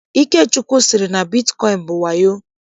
Ikechukwu sịrị na bitkọịn bụ wayo.